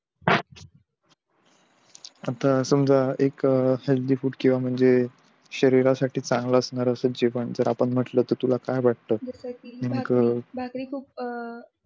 आता समझा एक हेल्थी फूड किंवा म्हणजे शरीरासाठी चन्गल असणार जेवण जर अपाणम्हट्ल तर तुला काय वाटतं जस कि भाकरी भाकरी खूप अं